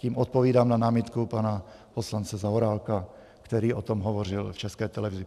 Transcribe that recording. Tím odpovídám na námitku pana poslance Zaorálka, který o tom hovořil v České televizi.